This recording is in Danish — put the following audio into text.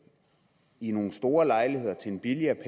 i nogle store lejligheder til en billigere